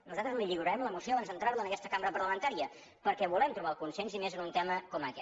nosaltres li lliurarem la moció abans d’entrar la en aquesta cambra parlamentària perquè volem trobar el consens i més en un tema com aquest